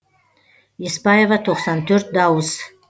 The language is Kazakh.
еспаева тоқсан төрт дауыс